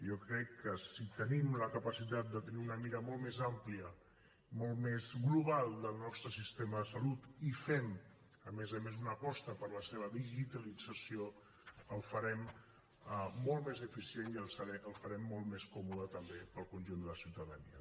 jo crec que si tenim la capacitat de tenir una mira molt més àmplia molt més global del nostre sistema de salut i fem a més a més una aposta per la seva digitalització el farem molt més eficient i el farem molt més còmode també per al conjunt de la ciutadania